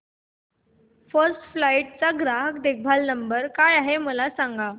first flight चा ग्राहक देखभाल नंबर काय आहे मला सांग